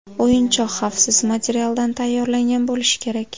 O‘yinchoq xavfsiz materialdan tayyorlangan bo‘lishi kerak.